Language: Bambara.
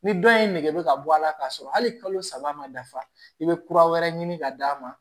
Ni dɔ ye nɛgɛ bɛ ka bɔ a la k'a sɔrɔ hali kalo saba ma dafa i be kura wɛrɛ ɲini ka d'a ma